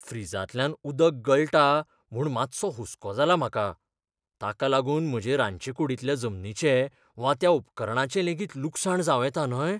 फ्रिजांतल्यान उदक गळटा म्हूण मातसो हुसको जाला म्हाका ताका लागून म्हजे रांदचेकूडींतल्या जमनीचें वा त्या उपकरणाचें लेगीत लुकसाण जावं येता न्हय?